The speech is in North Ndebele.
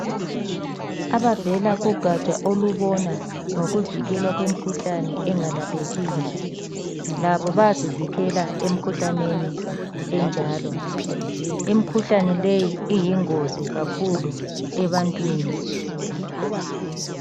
Abavela kugaja olubona ngokuvikela kwemikhuhlane engalaphekiyo labo bayazivikela emikhuhlaneni enjalo. Imikhuhlane leyi iyingozi kakhulu ebantwini